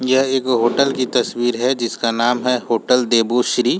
यह एक होटल की तस्वीर है जिसका नाम होटल देवश्री।